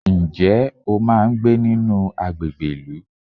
Ǹjẹ́ o máa ń gbé nínú àgbègbè ìlú?